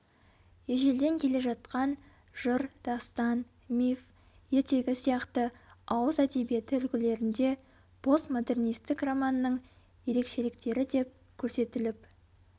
ежелден келе жатқан жыр дастан миф ертегі сияқты ауыз әдебиеті үлгілерінде постмодернистік романның ерекшеліктері деп көрсетіліп